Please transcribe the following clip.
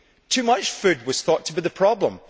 Too much food was thought to be the problem.